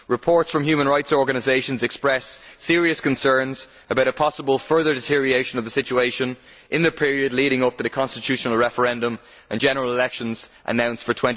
Reports from human rights organisations express serious concerns about a possible further deterioration of the situation in the period leading up to the constitutional referendum and general elections announced for